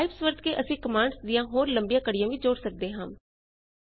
pipes ਵਰਤ ਕੇ ਅਸੀ ਕਮਾਂਡਜ਼ ਦੀਆਂ ਹੋਰ ਲੰਬੀਆਂ ਕੜੀਆਂ ਵੀ ਜੋੜ ਸਕਦੇ ਹਾਂ